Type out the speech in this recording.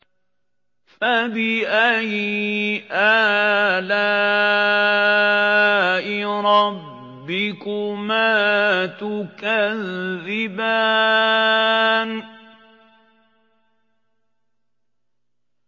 فَبِأَيِّ آلَاءِ رَبِّكُمَا تُكَذِّبَانِ